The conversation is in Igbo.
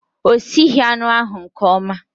O sighi anụ ahu nke ọma